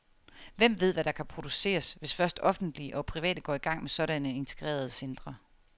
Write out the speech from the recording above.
Hvem ved, hvad der kan produceres, hvis først offentlige og private går i gang med sådanne integrerede centre.